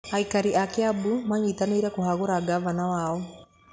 Aikari a Kiambu manyitanĩire kũhagũra ngabana wao.